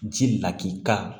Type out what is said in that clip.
Ji laki ka